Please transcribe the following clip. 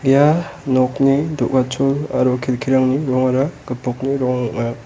ia nokni do·gachol aro kelkirangni rongara gipokni rong ong·a.